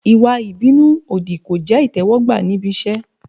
Ìwà ìbínú òdì kò jẹ́ ìtẹ́wọ́gbà níbi iṣẹ́.